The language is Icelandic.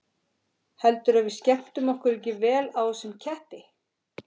Heldurðu að við skemmtum okkur ekki vel á þessum ketti?